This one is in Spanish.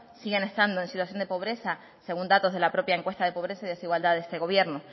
siguen estando en situación de pobreza según datos de la propia encuesta de pobreza y desigualdad de este gobierno